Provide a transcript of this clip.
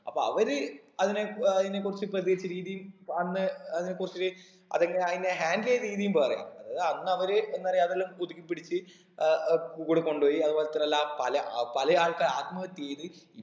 അപ്പൊ അവര് അതിനെ ഏർ അതിനെ കുറിച്ച് പ്രതികരിച്ച രീതി അന്ന് അതിനെ കുറിച്ച് അതെങ്ങനാ ആയിനെ handle എയ്ത രീതിയും വേറെയാ അത് അന്ന് അവര് എന്നറിയ അതെല്ലാം പുതുക്കി പിടിച്ച് ഏർ ഏർ കൂടെ കൊണ്ടോയി അതുപോലെ തന്നെ എല്ലാ പല അഹ് പല ആൾക്കാർ ആത്മഹത്യ ചെയ്ത്